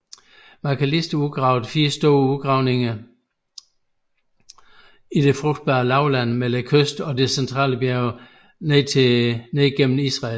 Macalister udgravede fire store udgravninger i det frugtbae lavland mellem kysten og de centrale bjerge ned gennem Israel